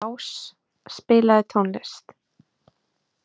Ás, spilaðu tónlist.